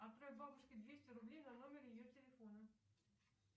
отправь бабушке двести рублей на номер ее телефона